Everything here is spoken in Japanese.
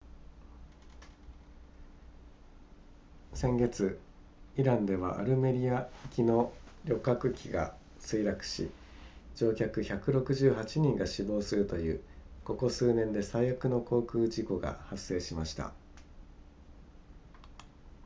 先月イランではアルメニア行きの旅客機が墜落し乗客168人が死亡するというここ数年で最悪の航空事故が発生しました